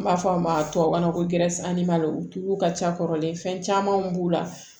N b'a fɔ a ma tubabukan na ko u tulu ka ca kɔrɔlen fɛn camanw b'u la